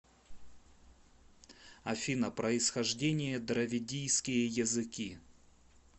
афина происхождение дравидийские языки